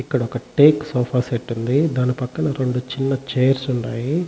ఇక్కడ ఒక teak sofa set ఉంది. దాని పక్కన రెండు చిన్న చైర్స్ ఉండాయి.